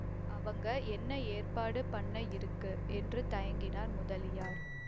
அவங்க என்ன ஏற்பாடு பண்ண இருக்கு என்று தயங்கினார் முதலியார்